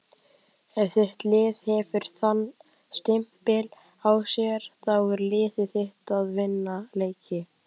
Ef þitt lið hefur þann stimpil á sér þá er liðið þitt að vinna leiki.